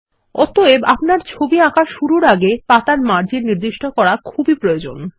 অতএব আপনার ছবি আঁকা শুরুর আগে পাতার মার্জিন নির্দিষ্ট করা খুবই প্রয়োজনীয়